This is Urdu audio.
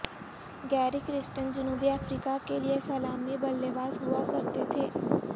گیری کرسٹن جنوبی افریقہ کے لیے سلامی بلے باز ہوا کرتے تھے